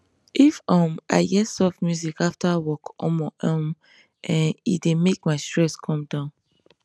if um i hear soft music after work omor um ehnn e dey make my stress come down